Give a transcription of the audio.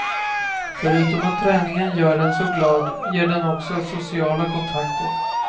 Förutom att träningen gör en så glad ger den också sociala kontakter.